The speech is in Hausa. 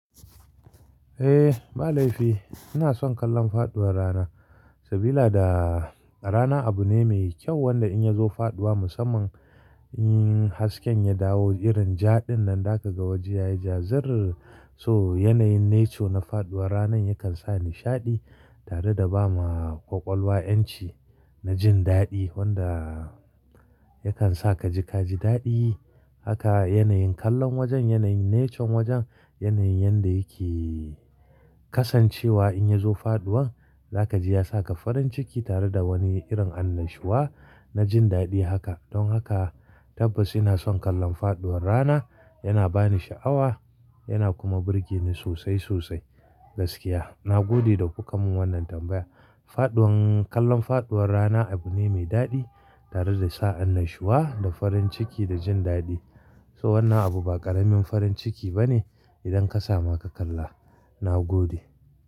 Eh, balaifi ina son kallon faɗuwar rana. Sabilada rana abu ne mai kyau wanda in ya zo faɗuwa musamman in hasken ya dawo irin jaɗin nan za ka ga waje ya yi jazarrr. So yanayin nature na faɗuwar ranan yakan sa nishaɗi tare da ba ma ƙwaƙwalwa 'yanci na jin daɗi wanda yakan sa ka ji ka ji daɗi. Haka yanayin kallon wajen, yanayin nature wajen, yanayin yanda yake kasancewa in ya zo faɗuwan za ka ji ya sa ka farin ciki tare da wani irin annashuwa na jin daɗi haka. Don haka tabbas ina son kallon faɗuwar rana, yana ba ni sha'awa yana kuma burge ni sosai sosai. Gaskiya, na gode da kuka mun wannan tambaya. Faɗuwan-- kallon faɗuwar rana abu ne mai daɗi tare da sa annashuwa da farin ciki da jin daɗi. So wannan abu ba ƙaramin farin ciki ba ne idan ka samu ka kalla. Na gode.